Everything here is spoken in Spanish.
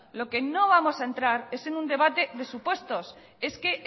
lo que no vamos a entrar es un debate de supuestos es que